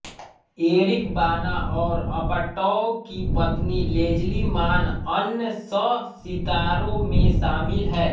Eric Bana और Apatow की पत्नी लेजली मान अन्य सहसितारों में शामिल हैं